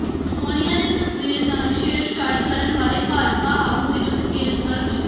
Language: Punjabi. ਸੋਨੀਆ ਦੀ ਤਸਵੀਰ ਨਾਲ ਛੇੜਛਾੜ ਕਰਨ ਵਾਲੇ ਭਾਜਪਾ ਆਗੂ ਵਿਰੁੱਧ ਕੇਸ ਦਰਜ